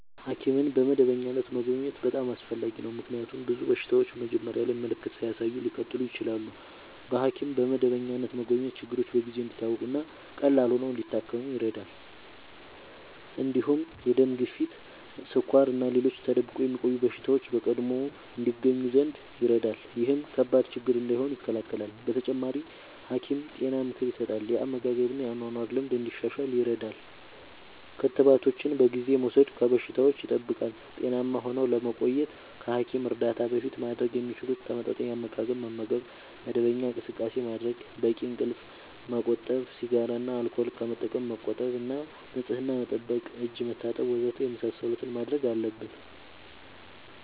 ሐኪምን በመደበኛነት መጎብኘት በጣም አስፈላጊ ነው፤ ምክንያቱም ብዙ በሽታዎች መጀመሪያ ላይ ምልክት ሳያሳዩ ሊቀጥሉ ይችላሉ። በሐኪም በመደበኛነት መጎብኘት ችግሮች በጊዜ እንዲታወቁ እና ቀላል ሆነው ሊታከሙ ይረዳል። እንዲሁም የደም ግፊት፣ ስኳር እና ሌሎች ተደብቆ የሚቆዩ በሽታዎች በቀድሞ ይገኙ ዘንድ ይረዳል። ይህም ከባድ ችግር እንዳይሆኑ ይከላከላል። በተጨማሪ፣ ሐኪም ጤና ምክር ይሰጣል፣ የአመጋገብ እና የአኗኗር ልምድ እንዲሻሻል ይረዳል። ክትባቶችን በጊዜ በመውሰድ ከበሽታዎች ይጠብቃል። ጤናማ ሆነው ለመቆየት ከሐኪም እርዳታ በፊት ማድረግ የሚችሉት፦ ተመጣጣኝ አመጋገብ መመገብ፣ መደበኛ እንቅስቃሴ ማድረግ፣ በቂ እንቅልፍ ማመቆጠብ፣ ሲጋራ እና አልኮል ከመጠቀም መቆጠብ እና ንጽህና መጠበቅ (እጅ መታጠብ ወዘተ) የመሳሰሉትን ማድረግ አለብን።